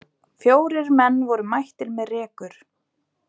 Fjórir menn voru mættir með rekur.